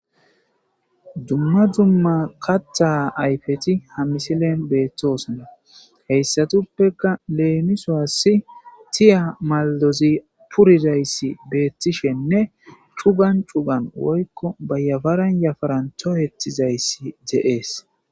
Duma duma kaththa ayfeti ha misilen bettosona heyssatufeka lemisuwas tiiya malidozi purizaysi betishene chugan chugan woykko ba yafaran yafaran toyetizayis de'es.